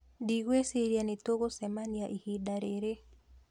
Ndiguĩciria nĩ tugucemania ihinda rĩrĩ